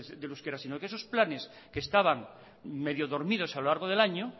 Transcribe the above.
del euskera sino que esos planes que estaban medio dormidos a lo largo del año